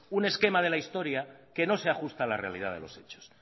un esquema de la historia que no se ajusta a la realidad de los hechos